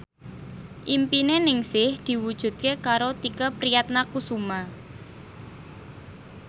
impine Ningsih diwujudke karo Tike Priatnakusuma